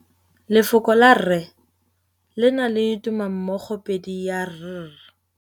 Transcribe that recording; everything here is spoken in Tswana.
Lefoko la rre le na le tumammogôpedi ya, r.